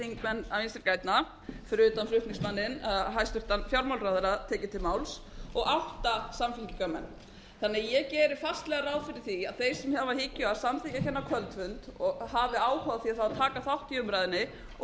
þingmenn vinstri grænna fyrir utan flutningsmanninn hæstvirtur fjármálaráðherra tekið til máls og átta samþingismenn þannig að ég geri ráð fyrir því að þeir sem hafa í hyggju að samþykkja þennan kvöldfund hafi áhuga á því að taka þátt í umræðunni og